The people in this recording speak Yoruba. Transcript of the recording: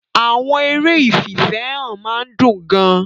Àwọn eré ìfìfẹ́hàn máa ń dùn gan-an.